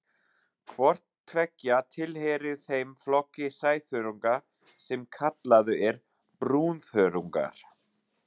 Hvort tveggja tilheyrir þeim flokki sæþörunga sem kallaður er brúnþörungar.